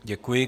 Děkuji.